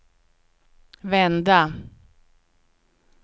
vända